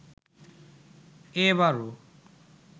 এ বারও